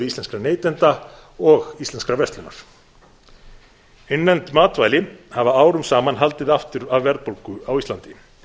íslenskra neytenda og íslenskrar verslunar innlend matvæli hafa árum saman haldið aftur af verðbólgu á íslandi